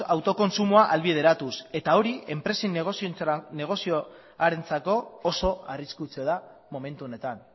autokontsumoa ahalbideratuz eta hori enpresen negozioarentzako oso arriskutsua da momentu honetan